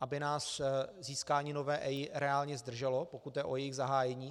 aby nás získání nové EIA reálně zdrželo, pokud jde o jejich zahájení.